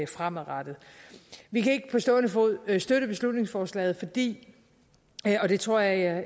fremadrettet vi kan ikke på stående fod støtte beslutningsforslaget fordi og det tror jeg